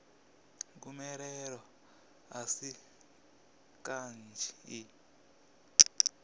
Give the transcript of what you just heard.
gomelelo a si kanzhi i